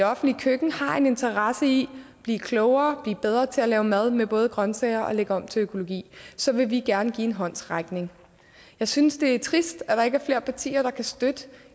offentligt køkken har en interesse i at blive klogere blive bedre til at lave mad med både grønsager og lægge om til økologi så vil vi gerne give en håndsrækning jeg synes det er trist at der ikke er flere partier der kan støtte